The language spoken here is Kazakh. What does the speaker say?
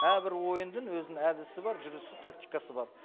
әрбір ойындың өзінің әдісі бар жүрісі тактикасы бар